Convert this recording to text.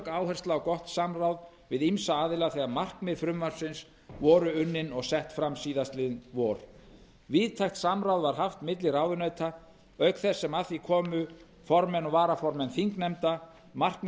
áhersla á gott samráð við ýmsa aðila þegar markmið frumvarpsins voru unnin og sett fram síðastliðið vor víðtækt samráð var haft milli ráðuneyta auk þess sem að því komu formenn og varaformenn þingnefnda markmið